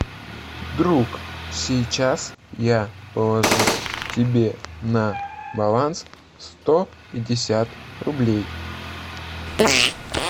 друг сейчас я положу тебе на баланс сто пятьдесят рублей